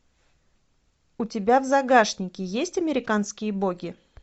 у тебя в загашнике есть американские боги